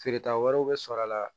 Feereta wɛrɛw bɛ sɔrɔ a la